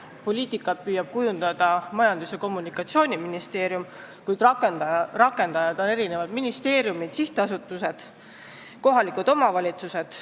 Seda poliitikat püüab kujundada Majandus- ja Kommunikatsiooniministeerium, kuid selle rakendajad on eri ministeeriumid, sihtasutused, kohalikud omavalitsused.